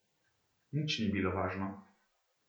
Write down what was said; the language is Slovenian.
Nič ni bilo važno.